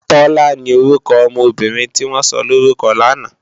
Tola ni órúkò òmò óbìrín tiwòn sòlórúkò làná